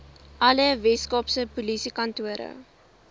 alle weskaapse polisiekantore